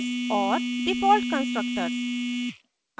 और default constructors